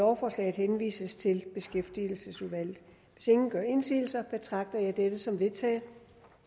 lovforslaget henvises til beskæftigelsesudvalget hvis ingen gør indsigelse betragter jeg dette som vedtaget